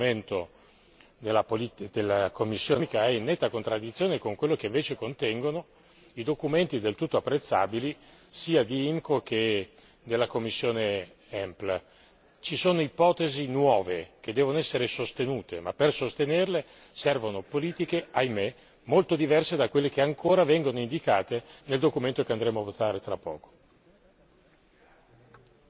Mi spiace dover notare che il documento della commissione per i problemi economici e monetari è in netta contraddizione con quello che invece contengono i documenti del tutto apprezzabile sia della commissione IMCO che della commissione EMPL. Ci sono ipotesi nuove che devono essere sostenute ma per sostenerle servono politiche, ahimè, molto diverse da quelle che ancora vengono indicate nel documento che andremo a votare tra poco.